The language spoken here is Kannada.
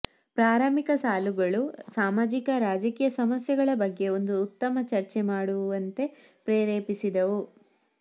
ಪ್ರಾರಂಭಿಕ ಸಾಲುಗಳು ಸಾಮಾಜಿಕ ರಾಜಕೀಯ ಸಮಸ್ಯೆಗಳ ಬಗ್ಗೆ ಒಂದು ಉತ್ತಮ ಚರ್ಚೆ ಮಾಡುವಂತೆ ಪ್ರೇರೇಪಿಸಿದವು